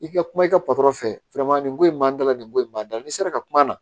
I ka kuma i ka patɔrɔn fɛ nin ko in b'an dala nin ko in b'a da la n'i sera ka kuma na